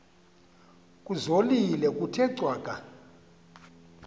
kuzolile kuthe cwaka